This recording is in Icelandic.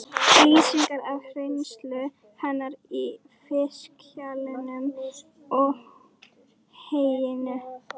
Lýsingarnar af reynslu hennar í fiskhjallinum og heyinu?